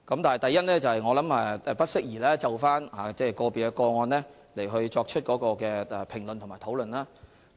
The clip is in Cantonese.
第一，我認為不適宜就個別個案作出評論和討論。